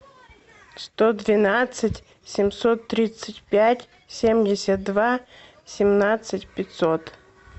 сто двенадцать семьсот тридцать пять семьдесят два семнадцать пятьсот